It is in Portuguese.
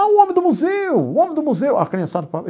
Ah, o homem do museu, o homem do museu a criançada falava.